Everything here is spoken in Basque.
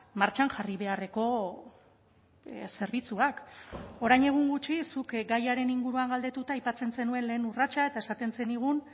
martxan jarri beharreko zerbitzuak orain egun gutxi zuk gaiaren inguruan galdetuta aipatzen zenuen lehen urratsa eta esaten zenigun